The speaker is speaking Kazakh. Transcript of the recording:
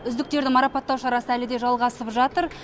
үздіктерді маррапатау шарасы әлі де жалғасып жатыр